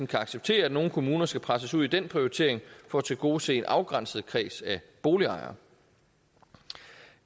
kan acceptere at nogle kommuner skal presses ud i den prioritering for at tilgodese en afgrænset kreds af boligejere